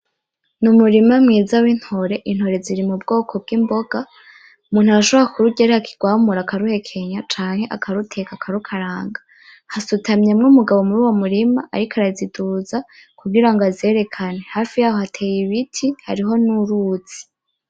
N,umurima mwiza w'intore intore ziri mubwoko bw,imboga Umuntu arashobora kururya ariho akirwamura akaruhekenya canke akaruteka akarukaranga hasutamyemwo umugabo muri uwo murima ariko araziduza kugirango azerekane hafi yaho hateye ibiti hari n,uruzi .